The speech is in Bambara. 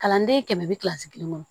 Kalanden kɛmɛ bi kilasi kelen kɔnɔ